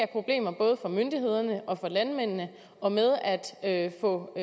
problemer både for myndighederne og for landmændene og med at få